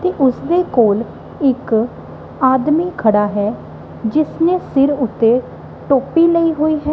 ਤੇ ਉਸਦੇ ਕੋਲ ਇੱਕ ਆਦਮੀ ਖੜਾ ਹੈ ਜਿਸਨੇ ਸਿਰ ਉੱਤੇ ਟੋਪੀ ਲਈ ਹੋਈ ਹੈ।